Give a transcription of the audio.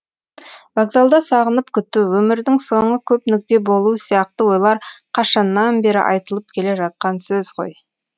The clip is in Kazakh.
вокзалда сағынып күту өмірдің соңы көп нүкте болуы сияқты ойлар қашаннан бері айтылып келе жатқан сөз ғой